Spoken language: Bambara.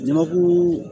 Jamakulu